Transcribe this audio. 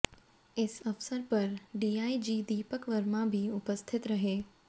इस अवसर पर D I G Deepak Verma भी उपस्थित रहे